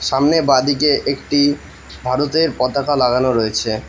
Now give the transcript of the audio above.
সামনে বাঁদিকে একটি ভারতের পতাকা লাগানো রয়েছে।